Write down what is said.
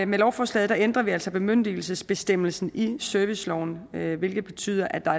med lovforslaget ændrer vi altså bemyndigelsesbestemmelsen i serviceloven hvilket betyder at der